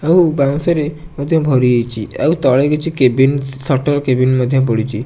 ଆଉ ବାଉଁଶ ରେ ମଧ୍ୟ ଭରି ହେଇଚି ଆଉ ତଳେ କିଛି କେଭିନ୍ ସଟର କେଭିନ ମଧ୍ୟ ପଡ଼ିଚି ।